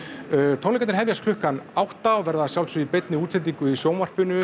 tónleikarnir hefjast klukkan átta og verða að sjálfsögðu í beinni útsendingu í sjónvarpinu